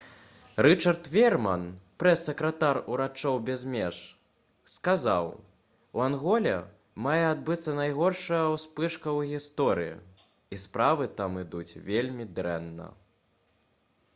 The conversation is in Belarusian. рычард веерман прэс-сакратар «урачоў без меж» сказаў: «у анголе мае адбыцца найгоршая ўспышка ў гісторыі і справы там ідуць вельмі дрэнна»